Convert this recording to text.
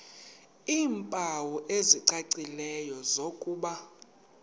iimpawu ezicacileyo zokuba